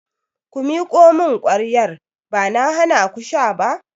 Ku miƙo mun kwayar! Ba na hanaku sha ba.